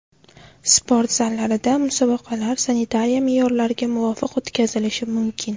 Sport zallarida musobaqalar sanitariya me’yorlariga muvofiq o‘tkazilishi mumkin.